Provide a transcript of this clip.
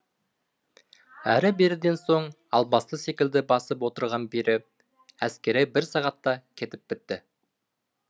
әрі беріден соң албасты секілді басып отырған пері әскері бір сағатта кетіп бітті